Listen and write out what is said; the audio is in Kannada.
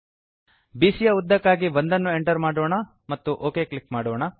ಬಿಸಿಯ ಯ ಉದ್ದಕ್ಕಾಗಿ 1 ಅನ್ನು ಎಂಟರ್ ಮಾಡೋಣ ಮತ್ತು ಒಕ್ ಕ್ಲಿಕ್ ಮಾಡೋಣ